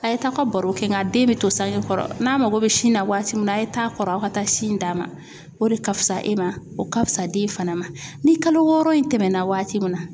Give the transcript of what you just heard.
A ye taa aw ka baro kɛ nga den bɛ to sange kɔrɔ n'a mago bɛ sin na waati min na a' ye taa kɔrɔ aw ka taa sin d'a ma o de ka fusa e ma o ka fusa den fana ma ni kalo wɔɔrɔ in tɛmɛna waati min na